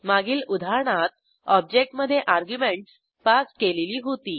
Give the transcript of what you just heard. मागील उदाहरणात ऑब्जेक्टमधे अर्ग्युमेंटस पास केलेली होती